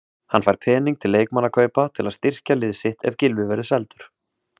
Hann fær pening til leikmannakaupa til að styrkja lið sitt ef Gylfi verður seldur.